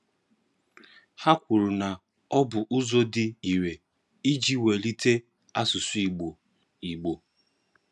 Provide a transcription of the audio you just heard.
Ha kwuru na ọ bụ ụzọ dị ire iji wulite asụsụ Igbo. Igbo.